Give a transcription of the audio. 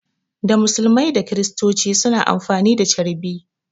Da musulmai da kristoci suna amfani da carbi